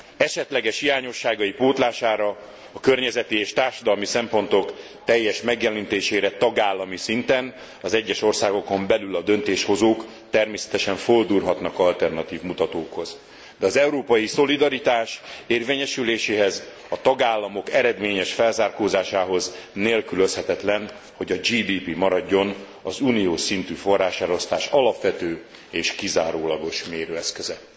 Esetleges hiányosságai pótlására a környezeti és társadalmi szempontok teljes megjelenítésére tagállami szinten az egyes országokon belül a döntéshozók természetesen fordulhatnak alternatív mutatókhoz, de az európai szolidaritás érvényesüléséhez, a tagállamok eredményes felzárkózásához nélkülözhetetlen, hogy a GDP maradjon az uniós szintű forráselosztás alapvető és kizárólagos mérőeszköze.